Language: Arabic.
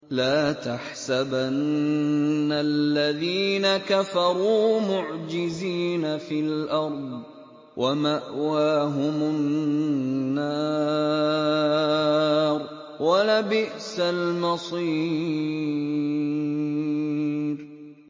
لَا تَحْسَبَنَّ الَّذِينَ كَفَرُوا مُعْجِزِينَ فِي الْأَرْضِ ۚ وَمَأْوَاهُمُ النَّارُ ۖ وَلَبِئْسَ الْمَصِيرُ